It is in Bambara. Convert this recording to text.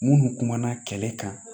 Munnu kumana kɛlɛ kan